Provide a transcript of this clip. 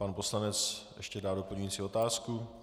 Pan poslanec ještě dá doplňující otázku.